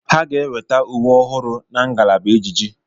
Ha ga-eweta uwe ọhụrụ na ngalaba ejiji.